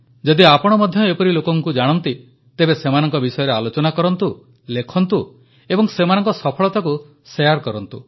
ଯଦି ଆପଣ ମଧ୍ୟ ଏପରି ଲୋକଙ୍କୁ ଜାଣନ୍ତି ତେବେ ସେମାନଙ୍କ ବିଷୟରେ ଆଲୋଚନା କରନ୍ତୁ ଲେଖନ୍ତୁ ଏବଂ ସେମାନଙ୍କ ସଫଳତାକୁ ଶେୟାର କରନ୍ତୁ